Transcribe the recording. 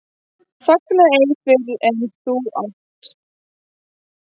Fagna ei fyrr en þú átt.